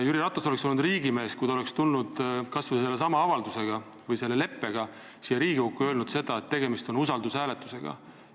Jüri Ratas oleks olnud riigimees, kui ta oleks tulnud kas või sellesama avaldusega või selle leppega Riigikokku ja öelnud, et tegemist on usaldushääletusega.